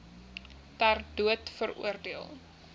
ter dood veroordeel